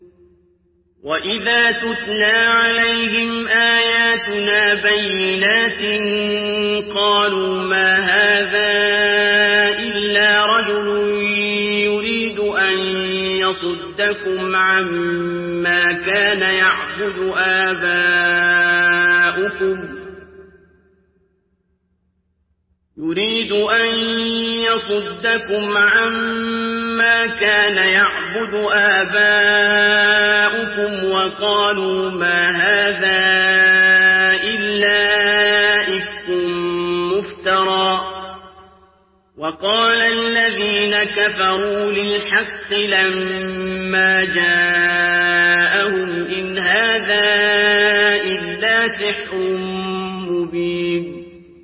وَإِذَا تُتْلَىٰ عَلَيْهِمْ آيَاتُنَا بَيِّنَاتٍ قَالُوا مَا هَٰذَا إِلَّا رَجُلٌ يُرِيدُ أَن يَصُدَّكُمْ عَمَّا كَانَ يَعْبُدُ آبَاؤُكُمْ وَقَالُوا مَا هَٰذَا إِلَّا إِفْكٌ مُّفْتَرًى ۚ وَقَالَ الَّذِينَ كَفَرُوا لِلْحَقِّ لَمَّا جَاءَهُمْ إِنْ هَٰذَا إِلَّا سِحْرٌ مُّبِينٌ